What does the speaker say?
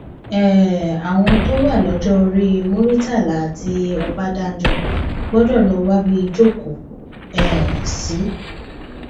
um àwọn tó wà lọjọ orí muritàlá àti ọbadànjọ gbọdọ lọ wábi jókòó um sí